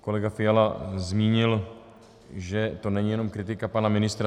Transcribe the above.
Kolega Fiala zmínil, že to není jenom kritika pana ministra.